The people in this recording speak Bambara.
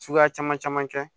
Suguya caman caman kɛ